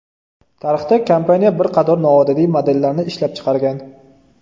Tarixda kompaniya bir qator noodatiy modellarni ishlab chiqargan.